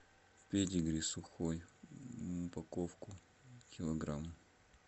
педигри сухой упаковку килограмм